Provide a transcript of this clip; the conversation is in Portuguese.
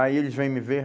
Aí eles vêm me ver?